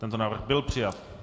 Tento návrh byl přijat.